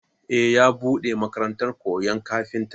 Eh, ya buɗe makarantar koyan kafinta